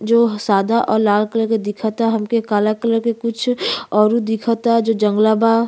जो सादा और लाल कलर का दिखता हमके काला कलर के कुछ औरो दिखता जो जंगला बा।